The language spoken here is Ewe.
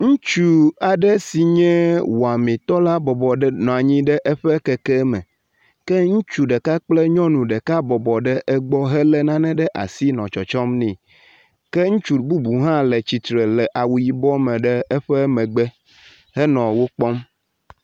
Ŋutsu aɖe si nye wɔmitɔ la bɔbɔ nɔ anyi ɖe eƒe keke me ke ŋutsu ɖeka kple nyɔnu ɖeka bɔbɔ ɖe egbɔ helé nane ɖe asi nɔ tsɔtsɔm nɛ ke ŋutsu bubu hã le atsitre le awu yibɔ me ɖe eƒe megbe henɔ wo kpɔm.